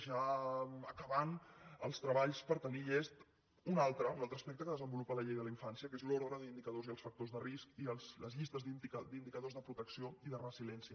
ja acabant els treballs per tenir ne llest un altre un altre aspecte que desenvolupa la llei de la infància que és l’ordre d’indicadors i els factors de risc i les llistes d’indicadors de protecció i de resiliència